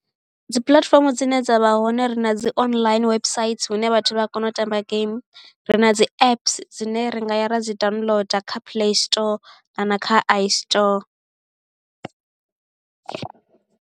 Dzi puḽatifomo dzine dza vha hone ri na dzi online website hune vhathu vha a kona u tamba game ri na dzi apps dzine ri nga ya ra dzi downloader kha play store kana kha istore.